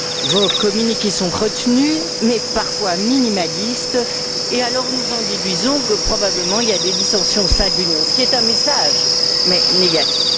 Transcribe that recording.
Vos communiqués sont retenus mais parfois minimalistes, et alors nous en déduisons que, probablement, il y a des dissensions au sein de l'Union, ce qui est un message, mais négatif.